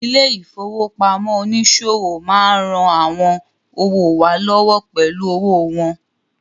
Ilé ìfowópamọ́ oníṣòwò má ń ran àwọn òwò wa lọ́wọ́ pẹ̀lú owó wọn